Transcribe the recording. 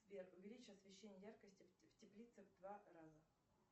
сбер увеличь освещение яркости в теплице в два раза